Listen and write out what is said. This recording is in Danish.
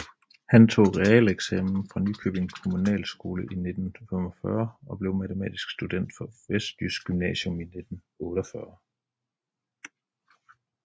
Han tog realeksamen fra Ringkøbing Kommunale Skole i 1945 og blev matematisk student fra Vestjysk Gymnasium i 1948